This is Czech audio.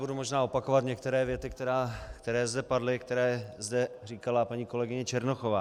Budu možná opakovat některé věty, které zde padly, které zde říkala paní kolegyně Černochová.